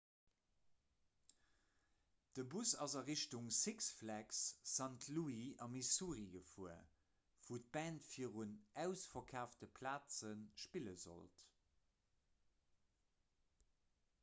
de bus ass a richtung six flags st louis a missouri gefuer wou d'band virun ausverkaafte plaze spille sollt